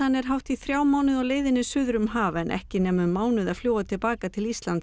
er hátt í þrjá mánuði á leiðinni suður um haf en ekki nema um mánuð að fljúga til baka til Íslands